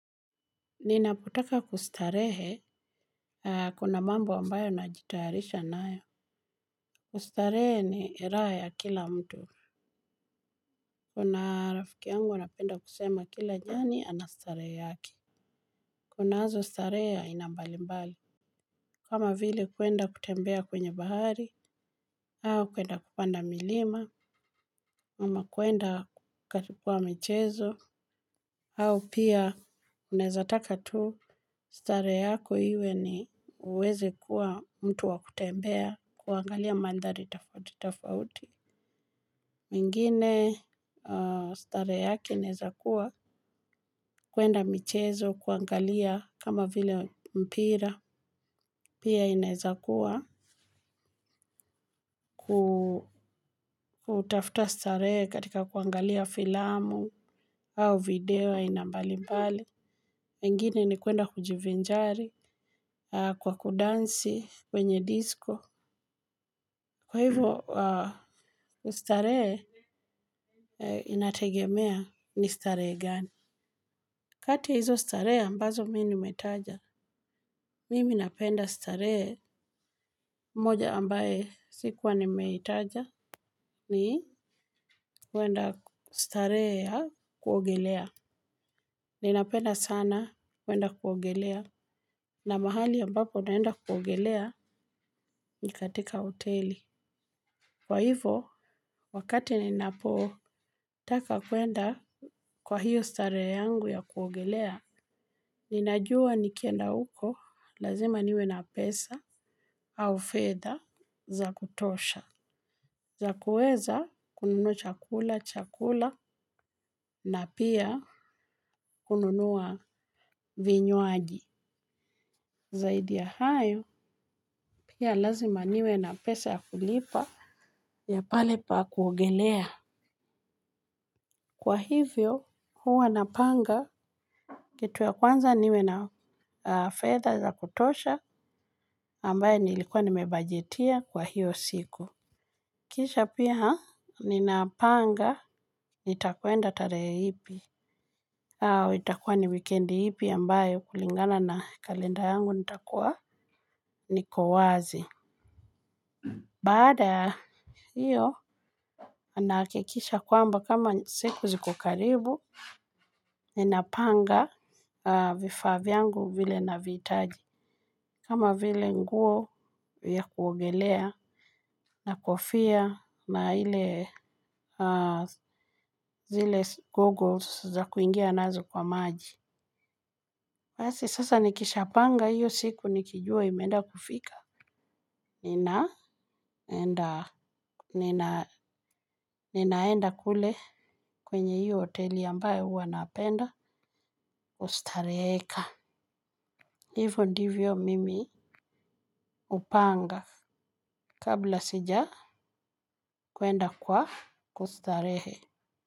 Ninapotaka kustarehe, kuna mambo ambayo najitayarisha nayo. Kustarehe ni raha ya kila mtu. Kuna rafiki yangu anapenda kusema kila nyani ana starehe yake. Kunazo starehe ya aina mbali mbali. Kama vile kwenda kutembea kwenye bahari, au kwenda kupanda milima, ama kwenda katipua michezo, au pia unaezataka tu. Starehe yako iwe ni uweze kuwa mtu wakutembea kuangalia mandhari tofauti. Mwingine starehe yake inaezakuwa kwenda michezo kuangalia kama vile mpira. Pia inaezakuwa kutafuta starehe katika kuangalia filamu au video aina mbali mbali. Mwingine ni kuenda kujivinjari kwa kudansi kwenye disco. Kwa hivo, ustarehe inategemea ni starehe gani. Kati ya hizo starehe ambazo mimi nimetaja, mimi napenda starehe moja ambaye sikuwa nimeitaja ni kuenda starehe ya kuogelea. Ninapenda sana kuenda kuogelea na mahali ambapo naenda kuogelea ni katika hoteli. Kwa hivo, wakati ni napotaka kuenda kwa hiyo starehe yangu ya kuogelea, ninajua nikienda uko lazima niwe na pesa au fedha za kutosha. Za kuweza kununua chakula, cha kula na pia kununua vinywaji. Zaidi ya hayo, pia lazima niwe na pesa ya kulipa ya pale pa kuogelea. Kwa hivyo huwa napanga kitu ya kwanza niwe na fedha za kutosha ambaye nilikuwa nimebajetia kwa hiyo siku. Kisha pia ninapanga nitakwenda tarehe ipi au itakuwa ni wikendi ipi ambayo kulingana na kalenda yangu nitakuwa niko wazi. Baada hiyo nahakikisha kwamba kama siku zikokaribu. Ninapanga vifaa vyangu vile navihitaji. Kama vile nguo ya kuogelea na kofia na ile zile googles za kuingia nazo kwa maji basi sasa nikishapanga hiyo siku nikijua imeenda kufika. Ninaenda kule kwenye hii hoteli ambaye huwa napenda kustareheka. Hivo ndivyo mimi upanga kabla sijakwenda kwa kustarehe.